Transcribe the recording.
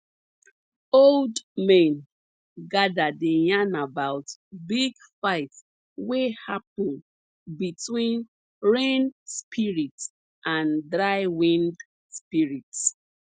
old men gather dey yarn about big fight wey happun between rain spirits and dry wind spirits